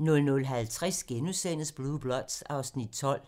00:50: Blue Bloods (Afs. 12)*